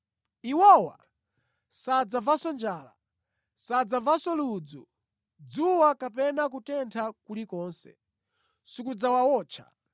‘Iwowa sadzamvanso njala, sadzamvanso ludzu, dzuwa kapena kutentha kulikonse sikudzawawotcha.’